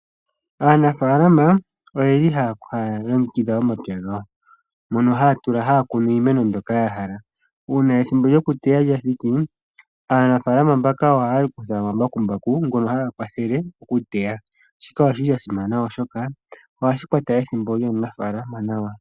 Aanafalama oha ya longekidha omapya gawo moka ha ya kunu shoka yahala. Ethimbo lyoku teya ngele lyathiki, aanafalama mbaka oha ya longitha omabakumbaku ngoka ha ga kwathele oku teya, shika oshasimana oshoka oha shikwata ethimbo lyaanafaalama nawa.